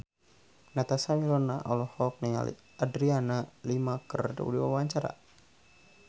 Natasha Wilona olohok ningali Adriana Lima keur diwawancara